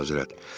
Xeyr, Əlahəzrət.